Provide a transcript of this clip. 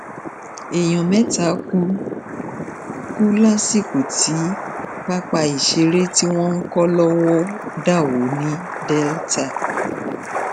èèyàn mẹta kú kú lásìkò tí pápá ìṣeré tí wọn ń kó lọwọ dà wó ní delta